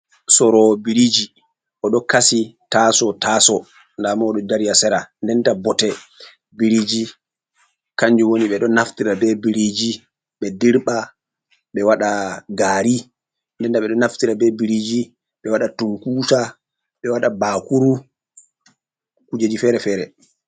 Soro'o biriji oɗo kasi taso taso ndamo oɗo dari ha sera, denta bote biriji kanju woni ɓeɗo naftira be biriji ɓe dirɓa ɓe waɗa gari denda ɓeɗo naftira be biriji ɓe waɗa tunkusa ɓe waɗa bakuru kujeji fere-fere.